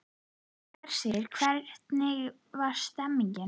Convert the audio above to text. Hersir, hvernig er stemningin?